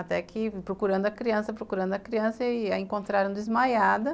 Até que procurando a criança, procurando a criança e a encontraram desmaiada.